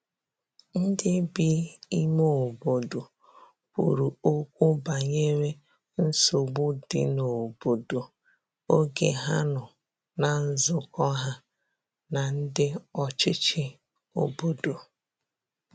ndi bi ime obodo kwuru okwu banyere nsogbu di n'obodo oge ha nọ na nzukọ ha na ndi ọchichi obodo